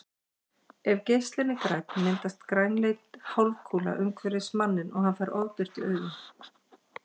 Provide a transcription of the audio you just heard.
Ef geislinn er grænn myndast grænleit hálfkúla umhverfis manninn og hann fær ofbirtu í augun.